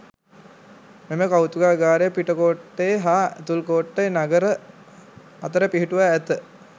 මෙම කෞතුකාගාරය පිටකෝට්ටේ හා ඇතුල්කෝට්ටේ නගර අතර පිහිටුවා ඇත.